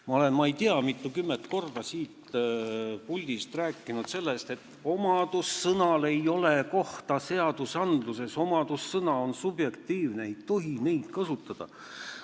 Ma olen ma ei tea mitukümmend korda siit puldist rääkinud sellest, et omadussõnal ei ole kohta seadustes, omadussõna on subjektiivne, seda ei tohi kasutada.